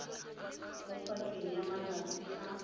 mo pakeng ya malatsi a